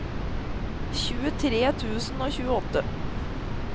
tjuetre tusen og tjueåtte